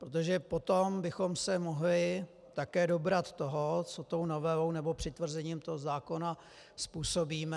Protože potom bychom se mohli také dobrat toho, co tou novelou nebo přitvrzením toho zákona způsobíme.